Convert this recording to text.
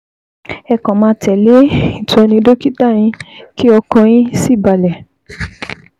Ẹ kàn máa tẹ̀lé ìtọ́ni dókítà yín, kí ọkàn yín sì balẹ̀